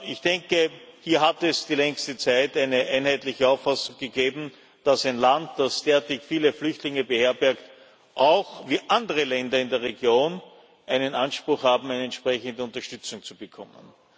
Ich denke, hier hat es die längste Zeit eine einheitliche Auffassung gegeben, dass ein Land, das derartig viele Flüchtlinge beherbergt, wie auch andere Länder in der Region einen Anspruch hat, entsprechende Unterstützung zu bekommen.